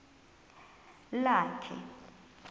lakhe